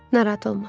Narahat olma.